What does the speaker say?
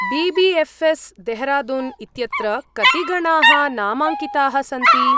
BBFS., Dehradun इत्यत्र कति गणाः नामाङ्किताः सन्ति?